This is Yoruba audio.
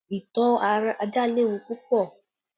Ìtọ́ ajá léwu púpọ̀